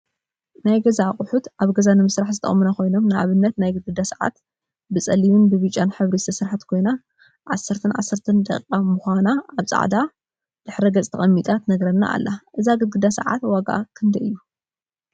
ናይ ገዛ አቁሑ ናይ ገዛ አቁሑ አብ ገዛ ንምስራሕ ዝጠቅሙና ኮይኖም፤ ንአብነት ናይ ግድግዳ ሰዓት ብፀሊምን ብብጫን ሕብሪ ዝተሰርሐት ኮይና 10፡10ደቂቃን ምኳና አብ ፃዕዳ ድሕረ ገፅ ተቀሚጣ ትነግራና አላ፡፡ እዛ ግድግዳ ሰዓት ዋግአ ክንደይ እዩ?